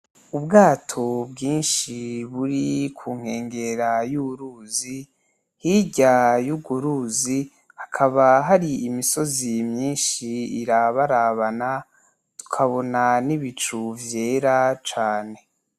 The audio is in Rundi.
Ubwato bwinshi buri ku nkengera y’uruzi , hirya y’uruzi hakaba hari imisozi myinshi irabarabana , tutabonany n’ibicu vyera cane.